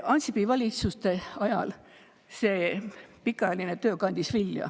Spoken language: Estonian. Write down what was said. Ansipi valitsuste ajal see pikaajaline töö kandis vilja.